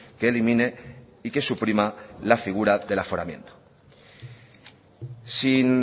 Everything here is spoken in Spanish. que elimine y que suprima la figura del aforamiento sin